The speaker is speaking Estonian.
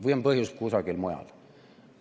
Või on põhjus kusagil mujal?